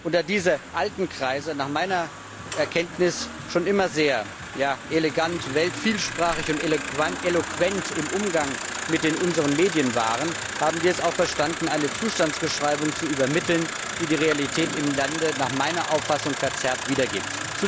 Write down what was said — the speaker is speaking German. Da diese alten Kreise nach meiner Erkenntnis schon immer sehr elegant, vielsprachig und eloquent im Umgang mit unseren Medien waren, haben sie es auch verstanden, eine Zustandsbeschreibung zu übermitteln, die die Realität im Lande meiner Auffassung nach verzerrt wiedergibt.